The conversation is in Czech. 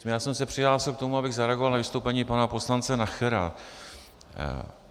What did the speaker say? Já jsem se přihlásil k tomu, abych zareagoval na vystoupení pana poslance Nachera.